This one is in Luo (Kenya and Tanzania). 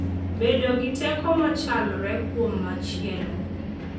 bedo gi teko machalre kuom machielo,